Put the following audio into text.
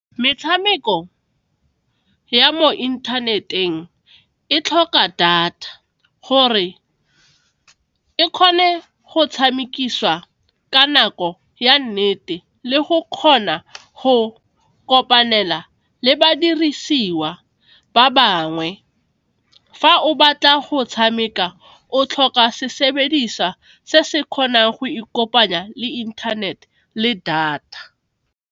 Metshameko ya mo internet-eng e tlhoka data gore e kgone go tshamekiswa ka nako ya nnete le go kgona go kopanela le badirisiwa ba bangwe, fa o batla go tshameka o tlhoka se sebediswa se se kgonang go ikopanya le inthanete le data.